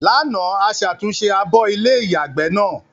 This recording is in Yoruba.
Lánàá, a ṣàtúnṣe abọ́ ilé-ìyàgbẹ́ náà.